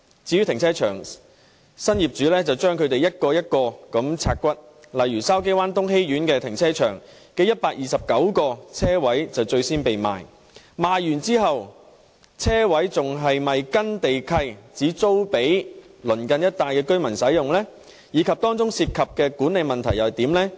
至於停車場，新業主把它們一個一個"拆骨"，例如筲箕灣東熹苑停車場的129個車位最先被出售，而在出售後，車位是否還按照地契規定只租給鄰近一帶的居民使用，以及當中涉及的管理問題又如何？